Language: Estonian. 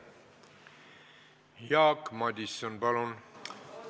Jaak Madison, palun!